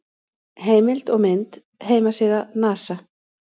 Heimild og mynd: Heimasíða NASA.